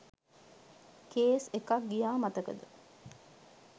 Case එකක් ගියා මතකද?